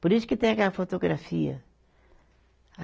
Por isso que tem aquela fotografia.